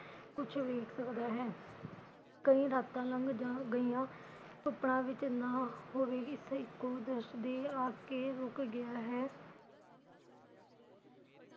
ਕੁਛ ਵੱਖ ਸਕਦਾ ਹੈ ਕਈ ਰਾਤਾਂ ਲੰਘ ਜਾ ਗਈਆ ਸੁਪਨਾ ਵੀ ਚੰਗਾ ਹੋਵੇ ਵੀ ਹਿਥੇ ਦਿਸਦੀ ਆ ਕੇ ਰੁਕ ਗਿਆ ਹੈ।